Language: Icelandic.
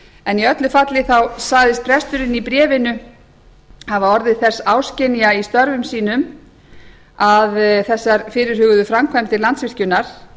en í öllu falli sagðist presturinn í bréfinu hafa orðið þess áskynja í störfum sínum að þessar fyrirhuguðu framkvæmdir landsvirkjunar